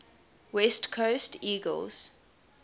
west coast eagles